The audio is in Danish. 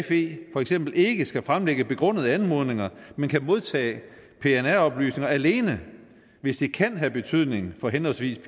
fe for eksempel ikke skal fremlægge begrundede anmodninger men kan modtage pnr oplysninger alene hvis det kan have betydning for henholdsvis